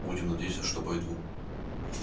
будем надеяться что бойду